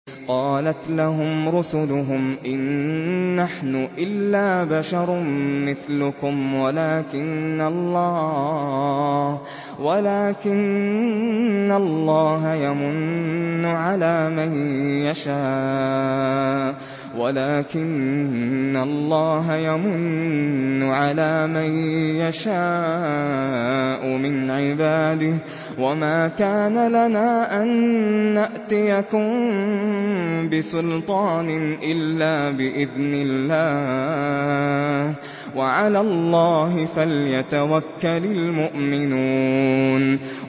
قَالَتْ لَهُمْ رُسُلُهُمْ إِن نَّحْنُ إِلَّا بَشَرٌ مِّثْلُكُمْ وَلَٰكِنَّ اللَّهَ يَمُنُّ عَلَىٰ مَن يَشَاءُ مِنْ عِبَادِهِ ۖ وَمَا كَانَ لَنَا أَن نَّأْتِيَكُم بِسُلْطَانٍ إِلَّا بِإِذْنِ اللَّهِ ۚ وَعَلَى اللَّهِ فَلْيَتَوَكَّلِ الْمُؤْمِنُونَ